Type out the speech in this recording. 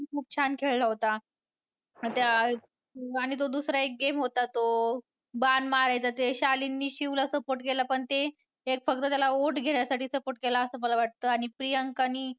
खूप छान खेळला होता. त्या आणि तो दुसरा एक game होता तो बाण मारायचा ते शालीनने शिव ला support केला पण ते एक फक्त त्याला vote घेण्यासाठी support केला असं मला वाटतं आणि प्रियंकानी छान खेळला होता.